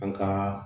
An ka